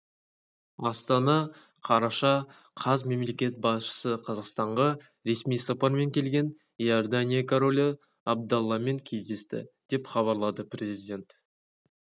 астана қараша қаз мемлекет басшысы қазақстанға ресми сапармен келген иордания королі абдалламен кездесті деп хабарлады президент